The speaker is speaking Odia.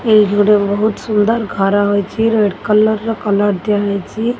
ଏଇଠି ଗୋଟେ ବୋହୁତ୍ ସୁନ୍ଦର ହୋଇଛି ରେଡ୍ କଲର ର କଲର ଦିଆହେଇଛି।